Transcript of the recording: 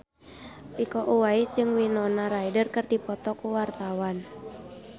Iko Uwais jeung Winona Ryder keur dipoto ku wartawan